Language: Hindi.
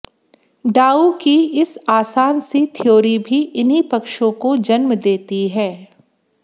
डाउ की इस आसान सी थ्योरी भी इन्हीं पक्षों को जन्म देती है